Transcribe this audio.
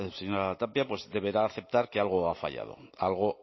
señora tapia deberá aceptar que algo ha fallado algo